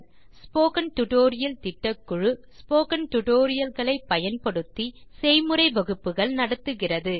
spoken tutorial திட்டக்குழு spoken tutorial களை பயன்படுத்தி செய்முறை வகுப்புகள் நடத்துகிறது